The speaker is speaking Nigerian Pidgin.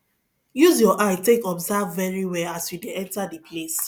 use your eye take observe very well as you de enter di place